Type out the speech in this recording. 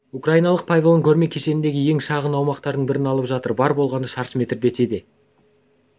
украиналық павильон көрме кешеніндегі ең шағын аумақтың бірін алып жатыр бар болғаны шаршы метр десе де